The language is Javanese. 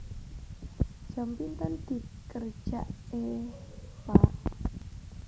Jam pinten dikerjaké Pak